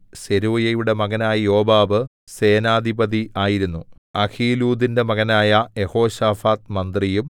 സെരൂയയുടെ മകനായ യോവാബ് സേനാധിപതി ആയിരുന്നു അഹീലൂദിന്റെ മകനായ യെഹോശാഫാത്ത് മന്ത്രിയും